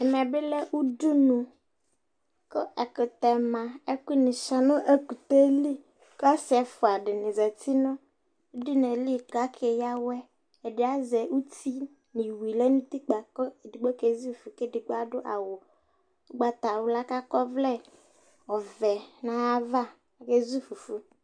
̂ɛmɛ bi lɛ ʊdʊnʊ kʊ ɛkʊtɛ ma , ɛkʊ ni chɔa nʊ ɛkʊtɛ ayava ɔlodi zeti nʊ ʊdʊnʊ ye li kʊ oke yawɔe ɛdi azɛ ʊti iwui lɛ nʊ ʊtikpa ɛdigbo ke zʊ fʊfʊ kʊ ɛdi adʊ awʊ ʊgbata wla kʊ akɔvlɛ ɔvɛ nʊ ayava ezʊ fʊfʊ